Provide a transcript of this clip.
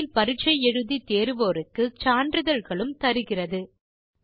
இணையத்தில் பரிட்சை எழுதி தேர்வோருக்கு சான்றிதழ்களும் தருகிறது